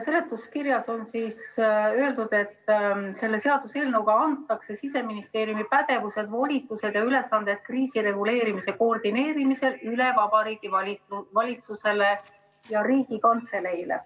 Seletuskirjas on öeldud, et selle seaduseelnõu kohaselt antakse Siseministeeriumi pädevused, volitused ja ülesanded kriisireguleerimise koordineerimisel üle Vabariigi Valitsusele ja Riigikantseleile.